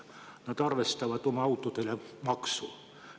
Nad arvestavad oma autode maksu.